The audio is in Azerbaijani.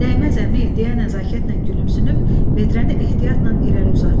Dəyməz əmi deyə nəzakətlə gülümsünüb, vedrəni ehtiyatla irəli uzatdı.